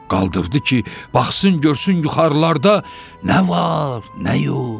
Qaldırdı ki, baxsın görsün yuxarılarda nə var, nə yox.